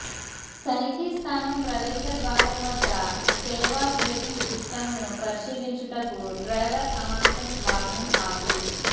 తనిఖీ స్థానం ప్రవేశద్వారం వద్ద సేవ బ్రేకింగ్ సిస్టమ్ను పరిశీలించుటకు డ్రైవర్ అమాంతం వాహనం ఆపి